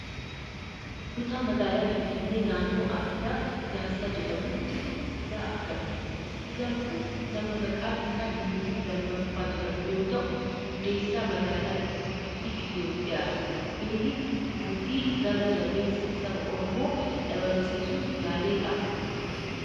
Kutaa magaala Finfinnee naannoo addaa Piyaasaa jedhamutti siidaa argamudha. Siidaan kun nama maqaan isaa Miniliik lammaffaa jedhamu yoo ta'u, hundeessaa magaalaa guddittii Itoophiyaati. Miniliik mootii gara jabeessa Saba Oromoo dhabamsiisuuf yaaledhaa?